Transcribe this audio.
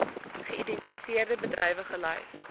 geïdentifiseerde bedrywe gelys